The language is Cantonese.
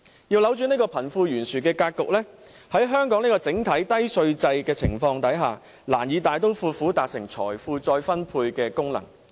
要扭轉貧富懸殊的格局，在香港這個整體低稅制度的情況下，難以大刀闊斧達成財富再分配的功能。